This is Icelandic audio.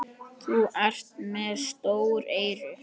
Þú ert með stór eyru.